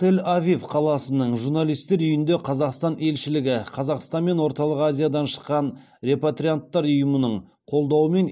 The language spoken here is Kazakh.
тель авив қаласының журналисттер үйінде қазақстан елшілігі қазақстан мен орталық азиядан шыққан репатрианттар ұйымының қолдауымен